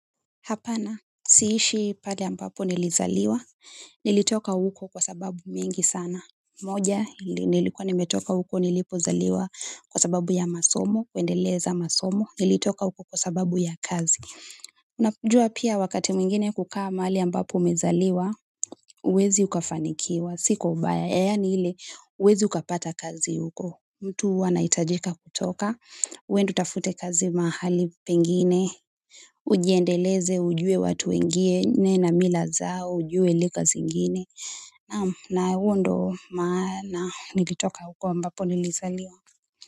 Hapana, siishi pahali ambapo nilizaliwa, nilitoka huko kwa sababu mingi sana. Moja, nilikuwa nimetoka huko nilipozaliwa kwa sababu ya masomo, kuendeleza masomo, nilitoka huko kwa sababu ya kazi. Unajua pia wakati mwingine kukaa mahali ambapo umezaliwa, huwezi ukafanikiwa, si kwa ubaya, yaani ile, huwezi ukapata kazi huko. Mtu huwa anahitajika kutoka, uende utafute kazi mahali pengine ujiendeleze, ujue watu wengine na mila zao, ujue lugha zingine, naam na huo ndo maana nilitoka huko ambapo nilizaliwa.